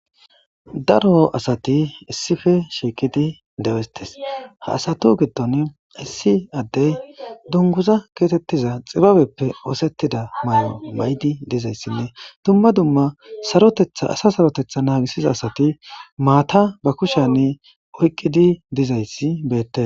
daro asati issife shiiqidi dewestes ha asatu giddon issi addey dunguza keetettiza xibabeppe oosettida may7o maydi dizayssinne dumma dumma sarotethaasa sarotetha naagisiza asati maata ba kushani oyqqidi dizayssi beette